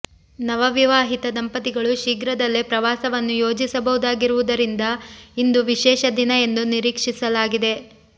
ನವವಿವಾಹಿತ ದಂಪತಿಗಳು ಶೀಘ್ರದಲ್ಲೇ ಪ್ರವಾಸವನ್ನು ಯೋಜಿಸಬಹುದಾಗಿರುವುದರಿಂದ ಇಂದು ವಿಶೇಷ ದಿನ ಎಂದು ನಿರೀಕ್ಷಿಸಲಾಗಿದೆ